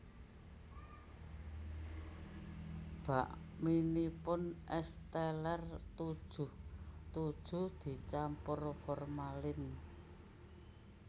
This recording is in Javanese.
Bakminipun Es Teller tujuh tujuh dicampur formalin